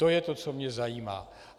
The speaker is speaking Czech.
To je to, co mě zajímá.